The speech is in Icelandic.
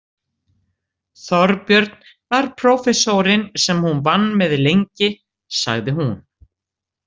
Þorbjörn var prófessorinn sem hún vann með lengi, sagði hún.